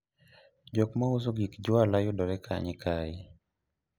jok mauso gik jwala yudore kanye kae?